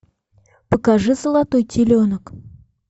покажи золотой теленок